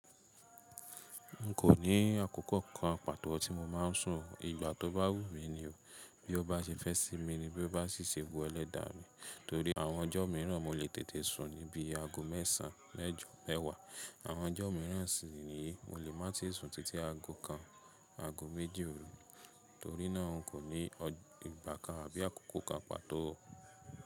N kò ní àkókò kan pàtó tí mo máa ń sùn o. Ìgbà tó bá wù mí ni o. Bí ó bá ṣe fẹ́ sí mi ni bí ó bá ṣe wu ẹlẹ́dàá mi. Torí àwọn ọjọ́ míràn mo lè tètè sùn ní bí i aago mẹ́sàn-án mẹ́jọ̀ọ́ mẹ́wàá. Àwọn ọjọ́ míràn sì ni mo lè má ti sùn títí aago kan, aago méjì òru. Torí náà n kò ní ìgbà kan àbí àkókò kan pàtó o.